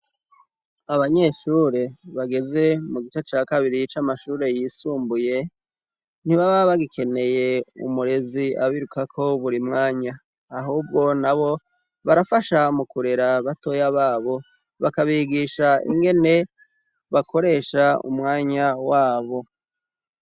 Abanyeshure bageze mu gice ca kabiri c’amashure yisumbuye ntibaba bagikeneye umurezi abirukako buri mwanya ahubwo na bo barafasha mu kurera batoya babo bakabigisha ingene bakoresha umwanya wabo.